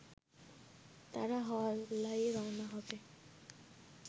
তারা হল্লায় রওনা হবে